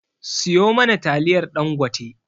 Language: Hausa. siyo mana taliyar ɗangote